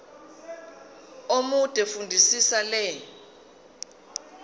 omude fundisisa le